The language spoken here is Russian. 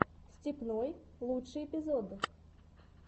степной лучший эпизод